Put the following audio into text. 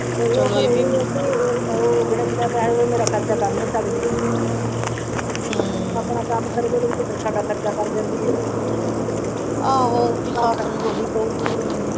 ਚੱਲੋ ਇਹ ਵੀ ਤੇ ਉਹ ਫ਼ੇਰ ਇਹ ਹੈ ਕਿ ਬਿਨਾਂ ਪੈਸਿਆਂ ਤੋਂ ਮੇਰਾ ਖ਼ਰਚਾ ਕਰ ਨਹੀਂ ਸਕਦੀ ਹਮ ਆਪਣਾ ਕੰਮ ਕਰੀ ਚੱਲੇਗੀ ਤੇ ਫੇਰ ਸਾਡਾ ਖ਼ਰਚਾ ਕਰ ਹੈ ਆਹੋ ਸੱਸ ਨੂੰ ਥੋੜਾ ਕਾਹੋ ਗਈ ਕਿ ਮੈਨੂੰ।